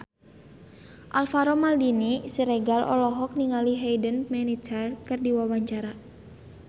Alvaro Maldini Siregar olohok ningali Hayden Panettiere keur diwawancara